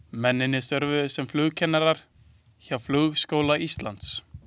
Mennirnir störfuðu sem flugkennarar hjá Flugskóla Íslands.